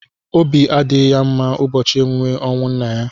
Obi adịghị ya mma n'ụbọchị emume ọnwụ nna ya.